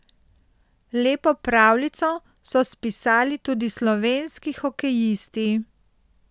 Lepo pravljico so spisali tudi slovenski hokejisti.